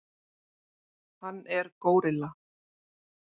Hann er górilla.